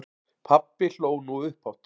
Pabbi hló nú upphátt.